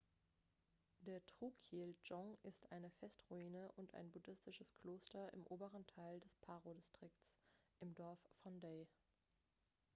der drukyel-dzong ist eine festungsruine und ein buddhistisches kloster im oberen teil des paro-distrikts im dorf phondey